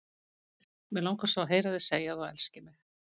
Mig langar svo að heyra þig segja að þú elskir mig!